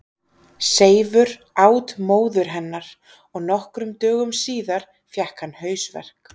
Seifur át móður hennar og nokkrum dögum síðar fékk hann hausverk.